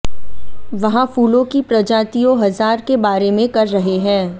वहाँ फूलों की प्रजातियों हजार के बारे में कर रहे हैं